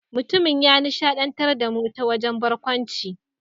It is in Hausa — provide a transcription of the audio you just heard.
Mutumin ya nishadantar da mu ta wajen barkwanci.